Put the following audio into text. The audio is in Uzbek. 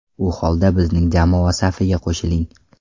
U holda bizning jamoa safiga qo‘shiling!